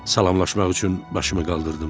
Salamlaşmaq üçün başımı qaldırdım.